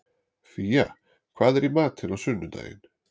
Fía, hvað er í matinn á sunnudaginn?